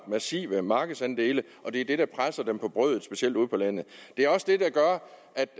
massive markedsandele og det er det der presser dem på brødet specielt ude på landet det er også det der gør